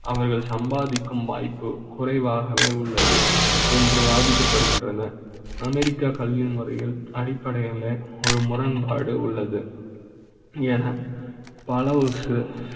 அவர்கள் சம்பாதிக்கும் வாய்ப்பு குறைவாக வே உள்ளது என்று பாதிக்கப்படுகின்றன. அமெரிக்கா கல்வி முறைகள் அடிப்படையில ஒரு முரண்பாடு உள்ளது என. பல ஒரு